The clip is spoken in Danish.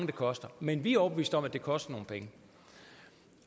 det koster men vi er overbeviste om at det koster nogle penge